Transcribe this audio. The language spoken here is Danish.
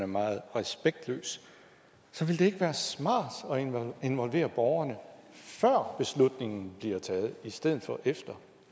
meget respektløs så ville det ikke være smart at involvere borgerne før beslutningen bliver taget i stedet for efter